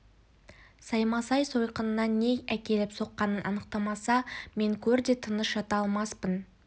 саймасай сойқанына не әкеліп соққанын анықтамаса мен көрде де тыныш жата алмаспын